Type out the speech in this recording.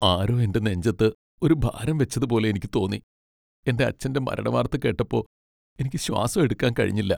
ആരോ എന്റെ നെഞ്ചത്ത് ഒരു ഭാരം വെച്ചതുപോലെ എനിക്ക് തോന്നി, എന്റെ അച്ഛന്റെ മരണവാർത്ത കേട്ടപ്പോ, എനിക്ക് ശ്വാസം എടുക്കാൻ കഴിഞ്ഞില്ല.